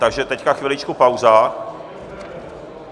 Takže teď chviličku pauza.